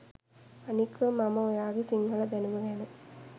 අනික මම ඔයාගෙ සිංහල දැනුම ගැන